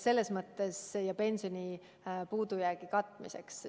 Selles mõttes, et see peaks minema pensionisummade puudujäägi katmiseks.